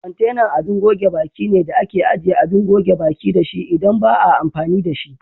Kwantenan abin goge baki ne da ake ajiye Abin goge baƙi dashi idan ba a amfani da shi.